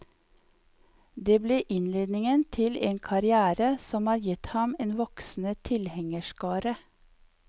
Dette ble innledningen til en karrière som har gitt ham en voksende tilhengerskare.